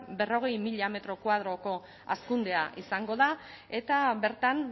berrogei mila metro koadroko hazkundea izango da eta bertan